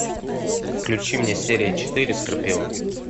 включи мне серия четыре скорпион